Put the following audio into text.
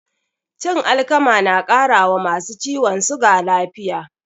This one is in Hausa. Cin alkama na ƙara wa masu ciwon suga lafiya